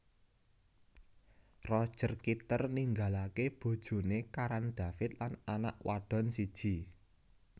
Roger Kitter ninggalaké bojoné Karan David lan anak wadon siji